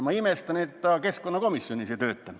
Ma imestan, et ta keskkonnakomisjonis ei tööta.